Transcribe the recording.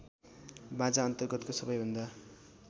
बाजाअन्तर्गतको सबैभन्दा